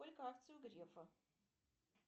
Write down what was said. сколько акций у грефа